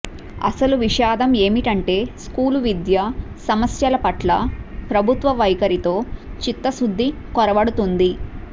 అసలు విషాదం ఏమిటంటే స్కూలు విద్య సమ స్యలపట్ల ప్రభుత్వ వైఖరి లో చిత్తశుద్ధి కొర వడుతోంది